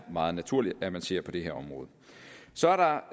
meget naturligt at man ser på det her område så er der